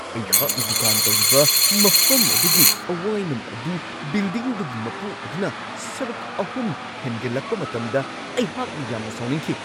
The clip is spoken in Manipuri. ꯑꯩꯍꯥꯛꯅ ꯗꯨꯀꯥꯟ ꯇꯧꯔꯤꯕ ꯃꯐꯝ ꯑꯗꯨꯒꯤ ꯑꯋꯥꯏꯃꯟ ꯑꯗꯨ ꯕꯤꯜꯗꯤꯡꯗꯨꯒꯤ ꯃꯄꯨ ꯑꯗꯨꯅ ꯁꯔꯨꯛ ꯑꯍꯨꯝ ꯍꯦꯟꯒꯠꯂꯛꯄ ꯃꯇꯝꯗ ꯑꯩꯍꯥꯛꯅ ꯌꯥꯝꯅ ꯁꯥꯎꯅꯤꯡꯈꯤ ꯫